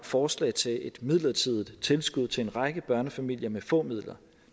forslag til et midlertidigt tilskud til en række børnefamilier med få midler